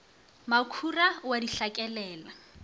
mokhura o a di hlakelela